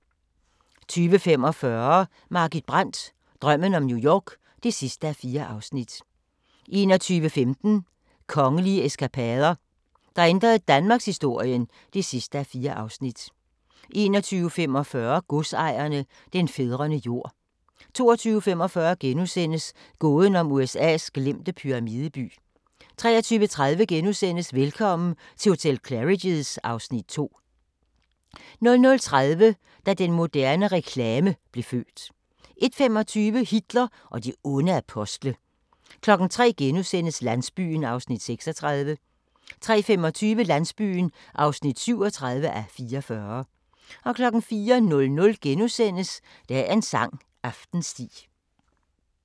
20:45: Margit Brandt – drømmen om New York (4:4) 21:15: Kongelige eskapader – der ændrede danmarkshistorien (4:4) 21:45: Godsejerne – den fædrene jord 22:45: Gåden om USA's glemte pyramideby * 23:30: Velkommen til hotel Claridge's (Afs. 2)* 00:30: Da den moderne reklame blev født 01:25: Hitler og de onde apostle 03:00: Landsbyen (36:44)* 03:25: Landsbyen (37:44) 04:00: Dagens sang: Aftensti *